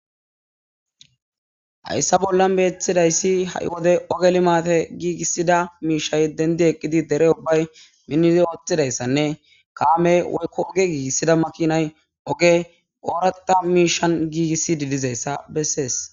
Hayssa bollan beeththidayssi ha7i wode ogeli maate giigissida miishay dendi eqqidi dere ubbay minnizi ooththidayssanne kaame woykko oge giigissida makinay oge ooraqa miishan giigissi didizayssa bessees